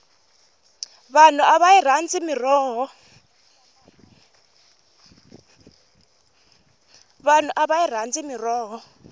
vanhu a va yi rhandzi mirhoho